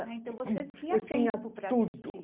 Ah, então, você tinha tempo para assistir.